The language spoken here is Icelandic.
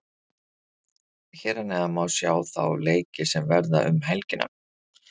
Hér að neðan má sjá þá leiki sem verða um helgina.